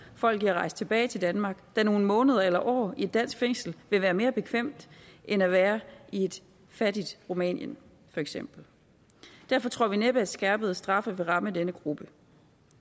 folk i at rejse tilbage til danmark da nogle måneder eller år i et dansk fængsel vil være mere bekvemt end at være i et fattigt rumænien for eksempel derfor tror vi næppe at skærpede straffe vil ramme denne gruppe